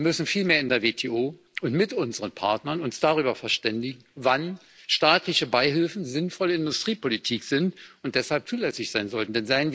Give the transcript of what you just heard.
Wir müssen uns vielmehr in der WTO und mit unseren Partnern darüber verständigen, wann staatliche Beihilfen sinnvolle Industriepolitik sind und deshalb zulässig sein sollten.